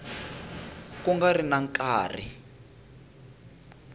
ku nga ri na nkarhi